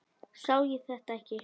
Sá ég þetta ekki?